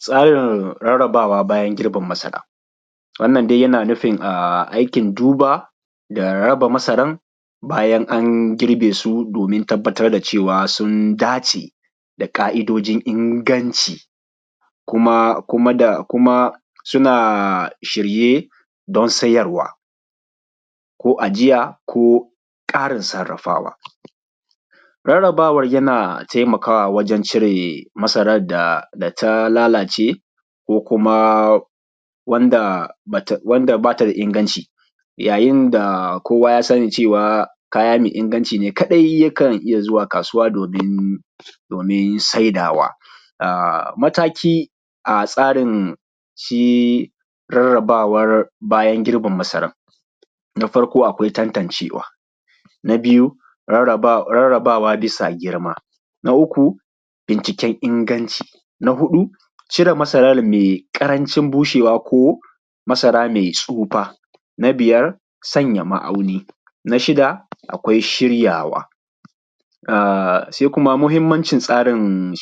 Tsarin rarrabawa bayan girbin masara. Wannan dai yana nufin aikin duba da raba masaran bayan an girbe su domin tabbatar da cewa sun dace da ƙa’idojin inganci, kuma suna shirye don sayarwa, ko ajiya ko ƙarin sarrafawa. Rarrabawan tana taimakawa wajen cire masaran da ta lalace ko kuma wand aba ta da inganci, yayin da kowa ya sani cewa kaya mai inganci ne kaɗai yakan iya zuwa kasuwa domin saidawa. Matakin tsarin rarrabawa bayan girbin masaran, na farko akwai tantancewa, na biyu rarrabawa bisa girma, na uku binciken inganci, na huɗu cire masaran mai ƙarancin bushewa ko masara mai tsufa. Na biyar sanya ma’auni, na shida akwai shiryawa. Muhimmancin tsarin